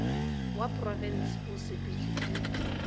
wa porofensi o sepetšwe ke